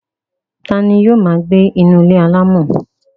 ta ni yóò máa gbé ní inú ilé alámọ̀?